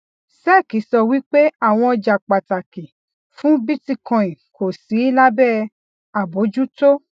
sec sọ wípé àwọn ọjà pàtàkì fún bitcoin kò sí lábẹ àbójútó